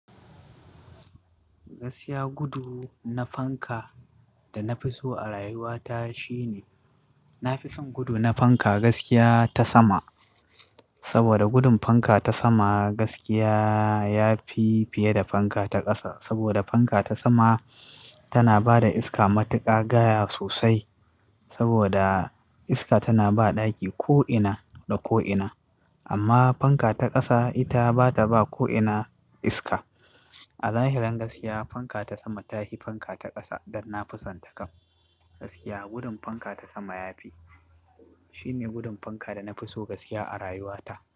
Gaskiya, gudu na fanka da na fi so a rayuwata shine, na fi son gudu na fanka gaskiya ta sama. Saboda gudun fanka ta sama gaskiya ya fi fiye da fanka ta ƙasa. Saboda fanka ta sama tana ba da iska matuƙa gaya sosai. Saboda iska tana ba ɗaki ko'ina da ko'ina. Amma fanka ta ƙasa ita bata ba ko'ina iska. A zahirin gaskiya fanka ta sama ta hi fanka ta ƙasa don na fi son ta kam. Gaskiya gudun fanka ta sama ya fi, shi ne gudun fanka da na fi so gaskiya a rayuwata.